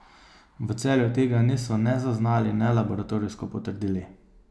V Celju tega niso ne zaznali ne laboratorijsko potrdili.